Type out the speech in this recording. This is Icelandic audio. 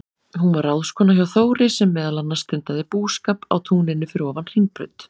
Hún var ráðskona hjá Þóri, sem meðal annars stundaði búskap á túninu fyrir ofan Hringbraut.